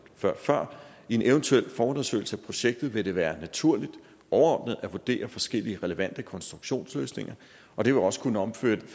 før i en eventuel forundersøgelse af projektet vil det være naturligt overordnet at vurdere forskellige relevante konstruktionsløsninger og det vil også kunne omfatte